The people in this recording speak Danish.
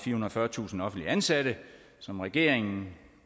fyrretusind offentligt ansatte som regeringen